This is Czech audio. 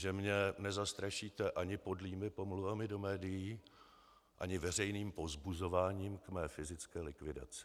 Že mě nezastrašíte ani podlými pomluvami do médií, ani veřejným povzbuzováním k mé fyzické likvidaci.